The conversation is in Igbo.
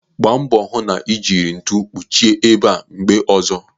Gbaa mbọ hụ na ị jiri ntu kpuchie ebe a mgbe ọzọ.